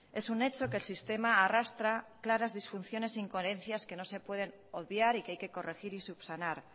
es un hecho que el sistema arrastra claras disfunciones e incoherencias que no se puede obviar y que hay que corregir y subsanar